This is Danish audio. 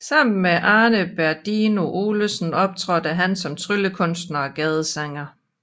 Sammen med Arne Berdino Olsen optrådte han som tryllekunstner og gadesanger